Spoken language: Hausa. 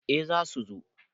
eh za su zo